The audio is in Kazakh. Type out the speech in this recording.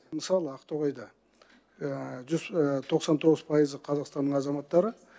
мысалы ақтоғайда тоқсан тоғыз пайызы қазақстанның азаматтары